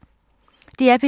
DR P3